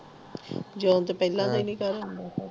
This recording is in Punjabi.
ਜੌਹਨ ਤੋਂ ਪਹਿਲਾ ਵੀ ਨਹੀਂ ਘਰ ਆਉਂਦਾ ਪਿਆ